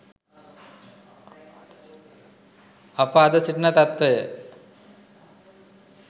අප අද සිටින තත්වය